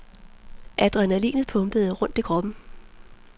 Adrenalinet pumpede rundt i kroppen.